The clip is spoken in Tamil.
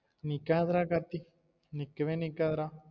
நிக்காது டா கார்த்தி நிக்கவே நிக்காது டா